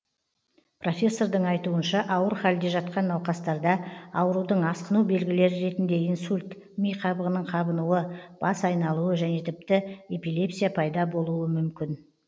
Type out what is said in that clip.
профессордың айтуынша ауыр халде жатқан науқастарда аурудың асқыну белгілері ретінде инсульт ми қабығының қабынуы бас айналуы және тіпті эпилепсия пайда болуы мүмкін